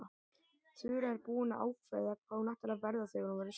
Þura er búin að ákveða hvað hún ætlar að verða þegar hún verður stór.